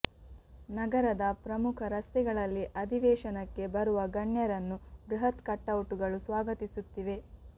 ನಗರದ ಪ್ರಮುಖ ರಸ್ತೆಗಳಲ್ಲಿ ಅಧಿವೇಶನಕ್ಕೆ ಬರುವ ಗಣ್ಯರನ್ನು ಬೃಹತ್ ಕಟೌಟ್ಗಳು ಸ್ವಾಗತಿಸುತ್ತಿವೆ